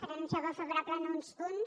per anunciar el vot favorable en uns punts